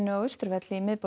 á Austurvelli í miðborg